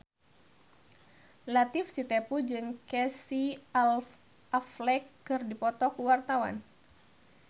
Latief Sitepu jeung Casey Affleck keur dipoto ku wartawan